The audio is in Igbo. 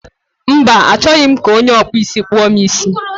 Mba, achọghị m ka onye ọkpụ isi kpụọ m isi